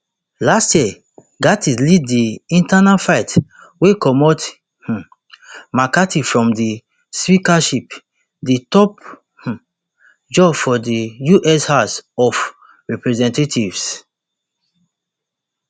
last year gaetz lead di internal fight wey comot um mccarthy from di speakership di top um job for di us house of representatives